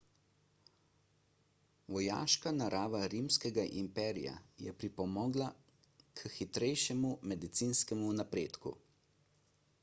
vojaška narava rimskega imperija je pripomogla k hitrejšemu medicinskemu napredku